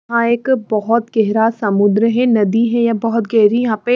यहाँ एक बहुत गहरा समुद्र है नदी है ये बहुत गहरी यहाँ पे।